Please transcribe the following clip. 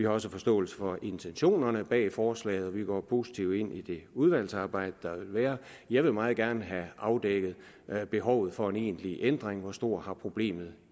også forståelse for intentionerne bag forslaget og vi går positivt ind i udvalgsarbejdet jeg vil meget gerne have afdækket behovet for egentlig ændring altså hvor stort problemet